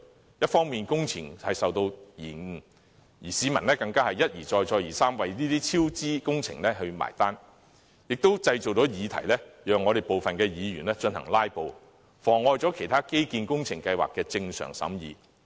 這一方面使工程受到延誤，市民更要一而再、再而三地為超支工程結帳，同時也製造了議題，讓部分議員"拉布"，妨礙其他建基工程計劃的正常審議。